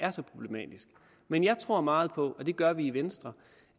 er så problematisk men jeg tror meget på og det gør vi i venstre